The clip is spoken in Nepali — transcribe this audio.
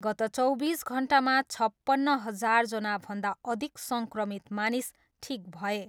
गत चौबिस घन्टामा छपन्न हजारजनाभन्दा अधिक सङ्क्रमित मानिस ठिक भए।